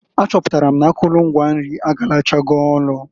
A chọpụtalụ m n'akụlụ ngwa nri agarachogo.